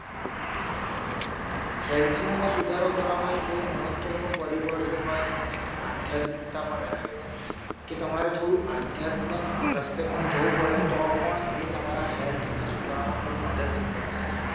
હેલ્થનો સુધારો કરવા મા એક બહુ મહત્વનું પરિબળ જો હોય તો મને એક આધ્યાત્મિકતા પણ લાગે છે કે તમારે થોડુ આધ્યાત્મિક રસ્તા પણ જવું પડે તો પણ એ તમારા હેલ્થને સુધારવામાં ખૂબ મદદરૂપ બને છે